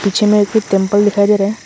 पीछे में एक तो टेंपल दिखाई दे रहा है।